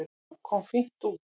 Hann kom fínt út.